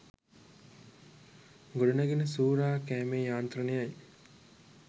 ගොඩ නැගෙන සූරා කෑමේ යාන්ත්‍රනයයි